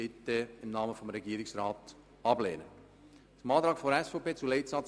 Deshalb beantrage ich Ihnen im Namen des Regierungsrats die Ablehnung.